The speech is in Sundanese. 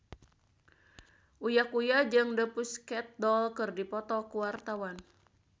Uya Kuya jeung The Pussycat Dolls keur dipoto ku wartawan